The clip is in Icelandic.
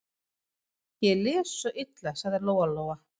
Ég les svo illa, sagði Lóa-Lóa.